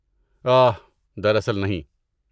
آہ، دراصل نہیں۔